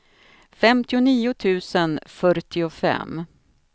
femtionio tusen fyrtiofem